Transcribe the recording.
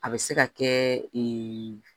A bɛ se ka kɛ